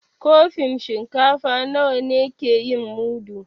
Kofin shinkafa nawa ne ke yin mudu?